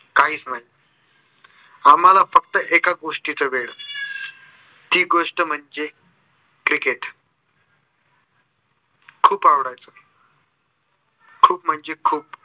काहीच नाही आम्हाला फक्त एकाच गोस्टिच वेड. ती गोस्ट म्हणजे cricket खूप आवडायच. खूप म्हणजे खूप.